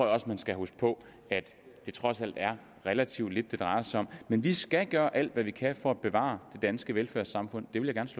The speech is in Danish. også man skal huske på at det trods alt er relativt lidt det drejer sig om men vi skal gøre alt hvad vi kan for at bevare det danske velfærdssamfund det vil